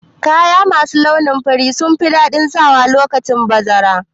Kaya masu launin fari sunfi daɗin sawa lokacin bazara